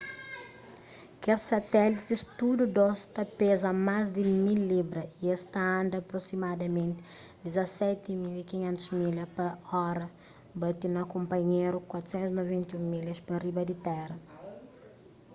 kes satélitis tudu dôs ta peza más di 1.000 libras y es ta anda aprosimadamenti 17.500 milhas pa ora bati na kunpanhéru 491 milhas pa riba di téra